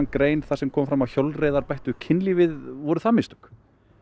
grein þar sem kom fram að hjólreiðar bættu kynlífið voru það mistök